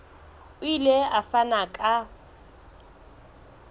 o ile a fana ka